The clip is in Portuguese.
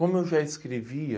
Como eu já escrevia,